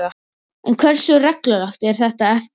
En hversu reglulegt er þetta eftirlit?